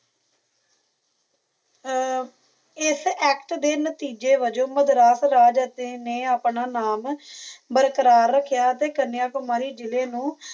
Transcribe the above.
ਹਾਂਜੀ ਹਾਂਜੀ ਇਥੋਂ ਤਕ ਪਤਾ ਲੱਗ ਗਿਆ ਜੀ ਆ ਜੇਕਰ ਤੁਸੀ ਅਗੇ ਮੈਨੂੰ ਆ ਇਸ ਐਕਟ ਦੇ ਨਤੇਜੇ ਵਜੋਂ ਮਦਰਾਫ਼ ਦੇ ਤੇ ਨਾਮ ਬਰਕਰਾ ਰੱਖਿਆ ਅਤੇ ਕਨਯਾਕੁਮਾਰੀ ਜਿਲੇ ਨੂੰ